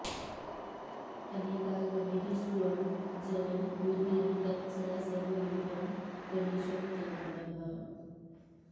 अनेकागमैः स्वं जनं बोधयन्तं सदा सर्वरूपं गणेशं नमामः